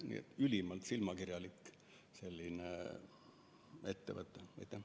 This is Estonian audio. Nii et ülimalt silmakirjalik ettevõtmine.